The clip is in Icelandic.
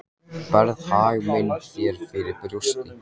Berð hag minn þér fyrir brjósti.